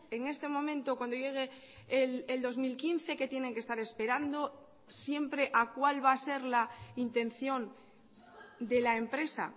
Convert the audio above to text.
en este momento cuando llegue el dos mil quince que tienen que estar esperando siempre a cuál va a ser la intención de la empresa